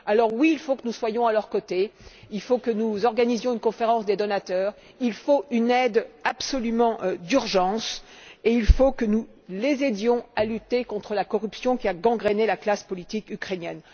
Oui, il faut que nous soyons à leurs côtés, il faut que nous organisions une conférence des donateurs, il faut absolument une aide d'urgence, et il faut que nous les aidions à lutter contre la corruption qui a gangréné la classe politique ukrainienne.